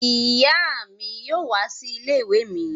Ìyá mi yóò wá sí ilé-ìwé mi.